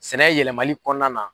Sɛnɛ yɛlɛmani kɔnɔna na.